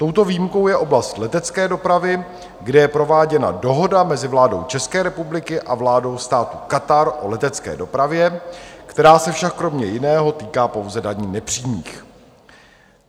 Touto výjimkou je oblast letecké dopravy, kde je prováděna dohoda mezi vládou České republiky a vládou státu Katar o letecké dopravě, která se však kromě jiného týká pouze daní nepřímých.